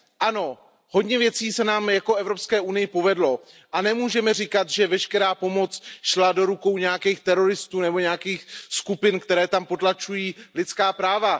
Ano, hodně věcí se nám jako Evropské unii povedlo a nemůžeme říkat, že veškerá pomoc šla do rukou nějakých teroristů nebo nějakých skupin, které tam potlačují lidská práva.